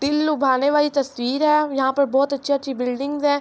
دیل لءبحانع والی تاسطعر حای ےاحا پر باحہت اچچحی اچچحی بیلدینگ حای۔.